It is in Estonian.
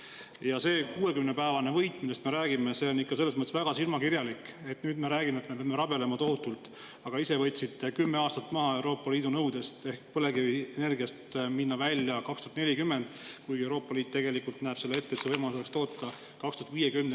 Ja see 60‑päevane võit, millest me räägime, on ikka väga silmakirjalik, selles mõttes, et nüüd me räägime, kuidas me peame tohutult rabelema, aga ise võtsite Euroopa Liidu nõudest 10 aastat maha, ehk et põlevkivienergia võiks minna välja aastal 2040, kuigi Euroopa Liit näeb tegelikult ette, et võimalus oleks toota aastani 2050.